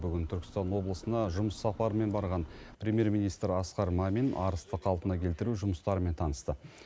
бүгін түркістан облысына жұмыс сапарымен барған премьер министрі асқар мамин арысты қалпына келтіру жұмыстарымен танысты